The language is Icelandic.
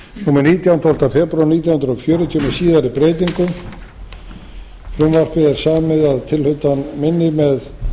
númer nítján tólfta febrúar nítján hundruð fjörutíu með síðari breytingum frumvarpið er samið að tilhlutan minni með